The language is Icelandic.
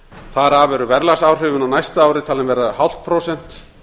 þar af eru verðlagsáhrifin á næsta ári talin verða núll fimm prósent